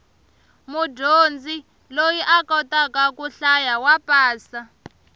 mudyondzi loyi a kotaka ku hlaya wa pasa